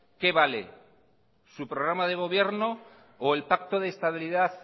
qué vale su programa de gobierno o el pacto de estabilidad